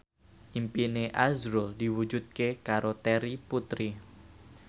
impine azrul diwujudke karo Terry Putri